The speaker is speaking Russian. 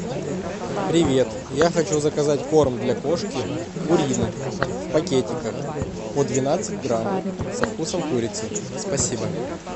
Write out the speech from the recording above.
привет я хочу заказать корм для кошки пурина в пакетиках по двенадцать грамм со вкусом курицы спасибо